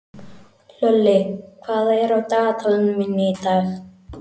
Hlölli, hvað er á dagatalinu mínu í dag?